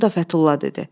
Bunu da Fətulla dedi.